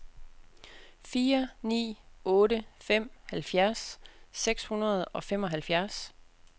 fire ni otte fem halvfjerds seks hundrede og femoghalvfjerds